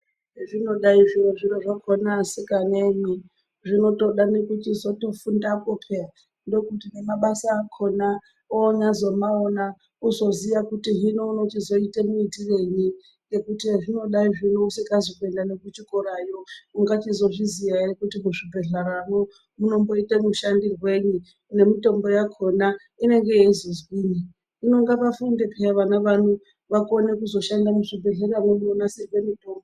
Zvinodai zviro zvino zvakona asikanemwi zvinozotoda nekutozofundapo peya ndokuti nemabasa akona onyazomaona uzoziya kuti hino unochizoite muitirenyi ngekuti hezvinodai zvino usikazi kuenda nekuchikorayo ungachizvozviziya ere kuti muzvibhehlera mwo munomboite mushandirwenyi nemitombo yakona inenge yezozwinyi hino ngavafunde peya vana vano vakone kuzoshanda muzvibhehleya.